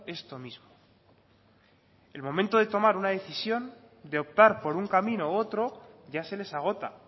esto mismo el momento de tomar una decisión de optar por un camino u otro ya se les agota